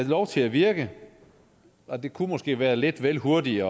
lov til at virke og det kunne måske være lidt vel hurtigt